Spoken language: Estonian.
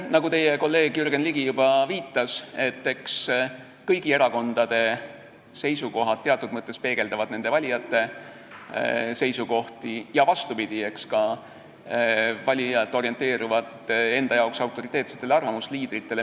Nagu teie kolleeg Jürgen Ligi juba viitas, eks kõigi erakondade seisukohad teatud mõttes peegeldavad nende valijate seisukohti, ja vastupidi, eks ka valijad ole orienteeritud nende arvates autoriteetsete arvamusliidrite suunas.